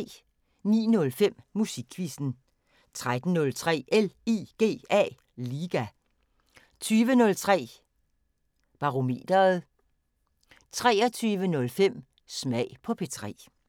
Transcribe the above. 09:05: Musikquizzen 13:03: LIGA 20:03: Barometeret 23:05: Smag på P3